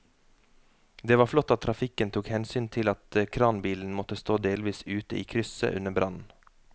Det var flott at trafikken tok hensyn til at kranbilen måtte stå delvis ute i krysset under brannen.